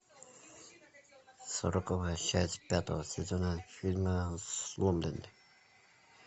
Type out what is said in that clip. сороковая часть пятого сезона фильма сломленный